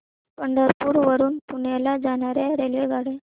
पंढरपूर वरून पुण्याला जाणार्या रेल्वेगाड्या